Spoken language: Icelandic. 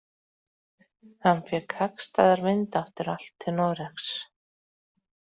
Hann fékk hagstæðar vindáttir allt til Noregs.